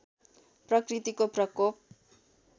प्रकृतिको प्रकोप